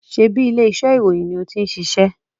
Sebi ilé iṣẹ́ ìròyìn ni ó tin ṣiṣẹ́?